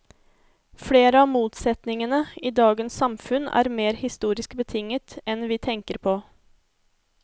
Flere av motsetningen i dagens samfunn er mer historisk betinget enn vi tenke på.